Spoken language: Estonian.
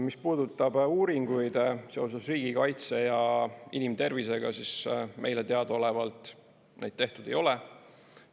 Mis puudutab uuringuid seoses riigikaitse ja inimtervisega, siis meile teadaolevalt neid tehtud ei ole.